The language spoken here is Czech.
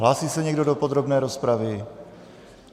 Hlásí se někdo do podrobné rozpravy?